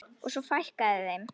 Og svo fækkaði þeim.